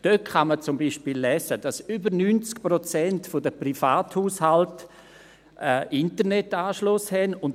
Dort kann man zum Beispiel lesen, dass über 90 Prozent der Privathaushalte einen Internetanschluss haben.